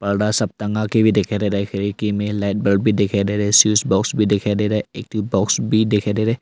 बड़ा सा टंगा के भी दिखाई दे रहा खिड़की में लाइट बल्ब भी दिखाई दे रहा है स्विच बॉक्स भी दिखाई दे रहा एक ठो बॉक्स भी दिखाई दे रहा--